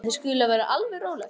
En þið skuluð vera alveg róleg.